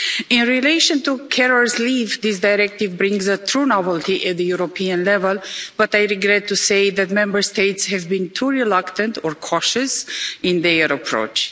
In relation to carers' leave, this directive brings a true novelty at the European level, but I regret to say that Member States have been too reluctant or cautious in their approach.